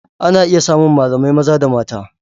Ana iya samun malamai maza da mata.